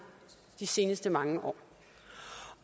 de seneste mange år